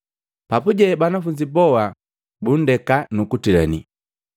Papuje banafunzi boa bundeka, nukuntila.